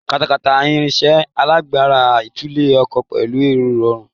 Katakata, irinṣẹ́ alágbára tulẹ̀ ọkọ pẹ̀lú ìrọ̀rùn.